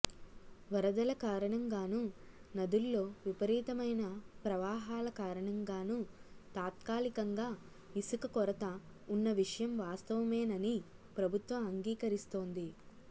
వరదల కారణంగానూ నదుల్లో విపరీతమైన ప్రవాహాల కారణంగానూ తాత్కాలికంగా ఇసుక కొరత ఉన్న విషయం వాస్తవమేనని ప్రభుత్వం అంగీకరిస్తోంది